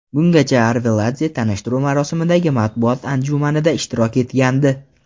Bungacha Arveladze tanishtiruv marosimidagi matbuot anjumanida ishtirok etgandi.